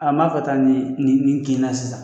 A b'a fɔ ta nin nin nin kina sisan.